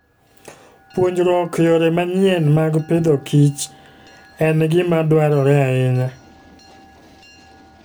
Puonjruok yore manyien mag Agriculture and Fooden gima dwarore ahinya.